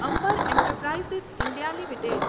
Amber enterprises India limited